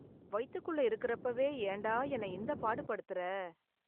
வயித்துக்குள்ள இருக்கறப்பவே, ஏன்டா என்ன இந்தப் பாடு படுத்துற...